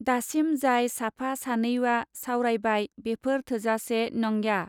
दासिम जाय साफा सानैवा सावरायबाय बेफोर थोजासे नॉन्ग्या.